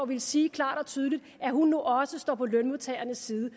vil sige klart og tydeligt at hun nu også står på lønmodtagernes side